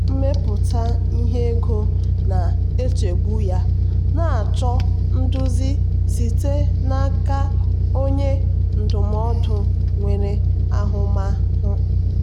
dịka onye ọrụ ngo onwe ya achọpụtala m na iwere ọrụ ide ihe nwa oge na-enyere aka um ịgbakwunye ego nnweta m.